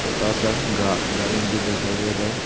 छोटा सा गा गार्डन भी दिखाई दे रहा है।